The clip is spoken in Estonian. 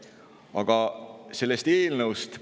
Aga paari sõnaga sellest eelnõust.